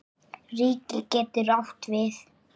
Ríki getur átt við